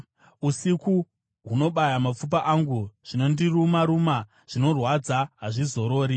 Usiku hunobaya mapfupa angu; zvinondiruma-ruma zvinorwadza hazvizorori.